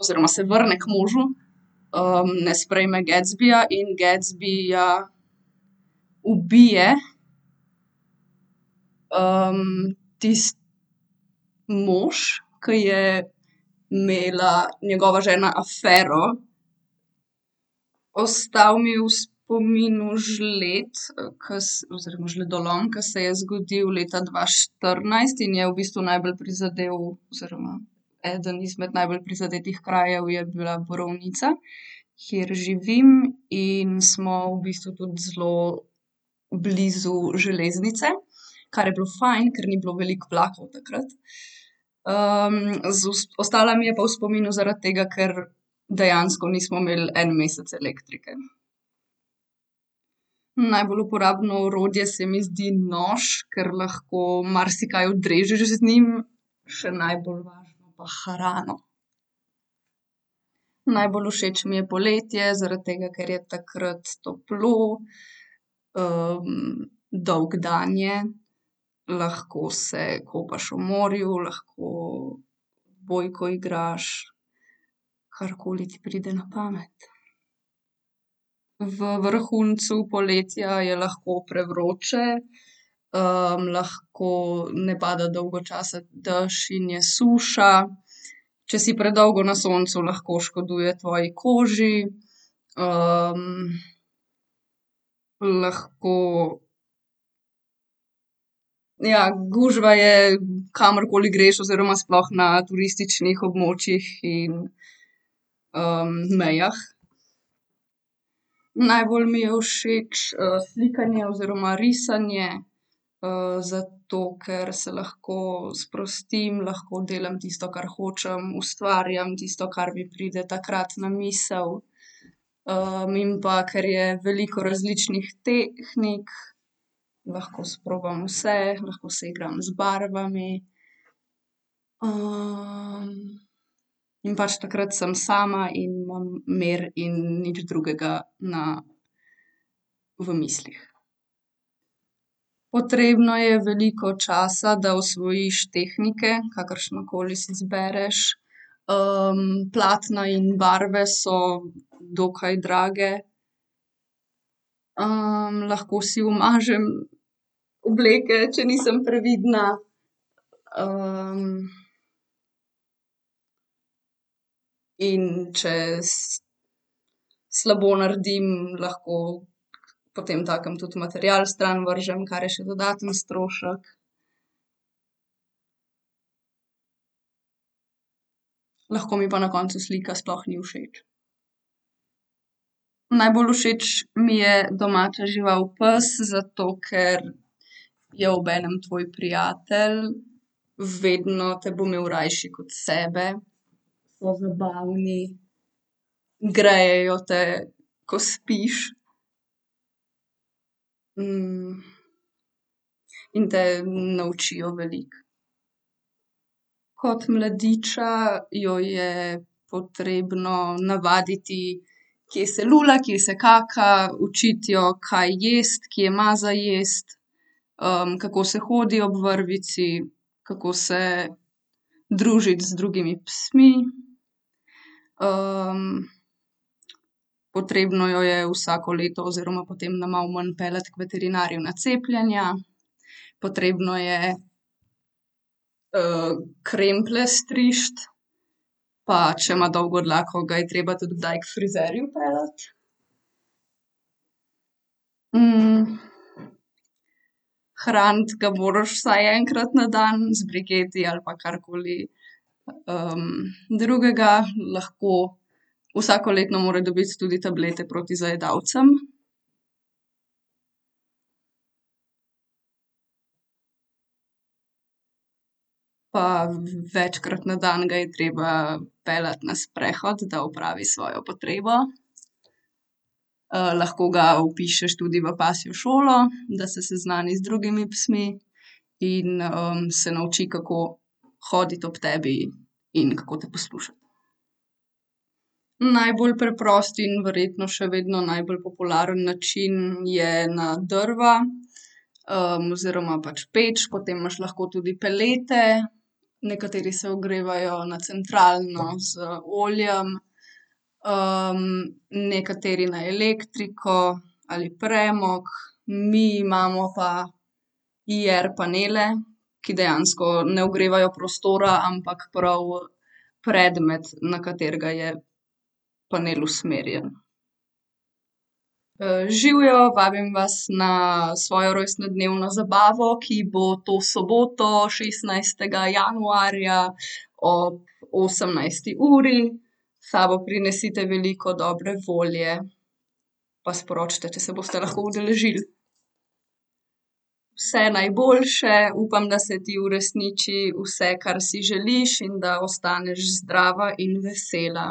Oziroma se vrne k možu. ne sprejme Gatsbyja in Gatsbyja ubije, mož, ke je imela njegova žena afero. Ostal mi je v spominu žled, ke oziroma žledolom, ke se je zgodil leta dva štirinajst in je v bistvu najbolj prizadel oziroma eden izmed najbolj prizadetih krajev je bila Borovnica, kjer živim, in smo v bistvu tudi zelo blizu železnice, kar je bilo fajn, ker ni bilo veliko vlakov takrat. ostala mi je pa v spominu zaradi tega, ker dejansko nismo imeli en mesec elektrike. Najbolj uporabno orodje se mi zdi nož, ker lahko marsikaj odrežeš z njim še najbolj važno pa hrano. Najbolj všeč mi je poletje, zaradi tega, ker je takrat toplo, dolg dan je, lahko se kopaš v morju, lahko odbojko igraš, karkoli ti pride na pamet. V vrhuncu poletja je lahko prevroče. lahko ne pada dolgo časa dž in je suša. Če si predolgo na soncu, lahko škoduje tvoji koži. lahko, ja, gužva je, kamorkoli greš oziroma sploh na turističnih območjih in, mejah. Najbolj mi je všeč, slikanje oziroma risanje. zato, ker se lahko sprostim, lahko delam tisto, kar hočem, ustvarjam tisto, kar mi pride takrat na misli. in pa, ker je veliko različnih tehnik, lahko sprobam vse, lahko se igram z barvami. in pač takrat sem sama in imam mir in nič drugega na, v mislih. Potrebno je veliko časa, da osvojiš tehnike, kakršnokoli si izbereš, platna in barve so dokaj drage. lahko si umažem obleke, če nisem previdna, in če slabo naredim, lahko potemtakem tudi material stran vržem, kar je še dodaten strošek. Lahko mi pa na koncu slika sploh ni všeč. Najbolj všeč mi je domača žival pes, zato ker je obenem tvoj prijatelj, vedno te bo imel rajši kot sebe. So zabavni, grejejo te, ko spiš. in te naučijo veliko. Kot mladiča jo je potrebno navaditi, kje se lula, kje se kaka. Učiti jo, kaj jaz, kje ima za jesti. kako se hodi ob vrvici, kako se družiti z drugimi psmi. potrebno jo je vsako leto oziroma potem na malo manj peljati k veterinarju na cepljenja. Potrebno je, kremplje striči, pa če ima dolgo dlako, ga je treba tudi kdaj k frizerju peljati. hraniti ga moraš vsaj enkrat na dan z briketi ali pa karkoli, drugega lahko, vsakoletno mora dobiti tudi tablete proti zajedavcem. Pa večkrat na dan ga je treba peljati na sprehod, da opravi svojo potrebo. lahko ga vpišeš tudi v pasjo šolo, da se seznani z drugimi psi. In, se nauči, kako hoditi ob tebi in kako te poslušati. Najbolj preprosti in verjetno še vedno najbolj popularen način je na drva. oziroma pač peč, potem imaš lahko tudi pelete. Nekateri se ogrevajo na centralno z oljem. nekateri na elektriko ali premog. Mi imamo pa IR-panele, ki dejansko ne ogrevajo prostora, ampak prav predmet, na katerega je panel usmerjen. živjo, vabim vas na svojo rojstnodnevno zabavo, ki bo to soboto šestnajstega januarja ob osemnajsti uri. S sabo prinesite veliko dobre volje. Pa sporočite, če se boste lahko udeležili. Vse najboljše, upam, da se ti uresniči vse, kar si želiš, in da ostaneš zdrava in vesela.